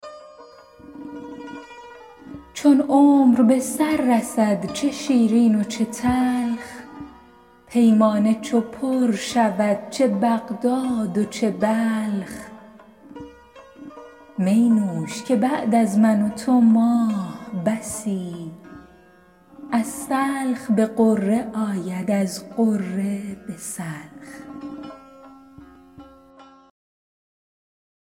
چون عمر به سر رسد چه شیرین و چه تلخ پیمانه چو پر شود چه بغداد و چه بلخ می نوش که بعد از من و تو ماه بسی از سلخ به غره آید از غره به سلخ